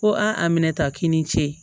Ko a minɛta k'i ni ce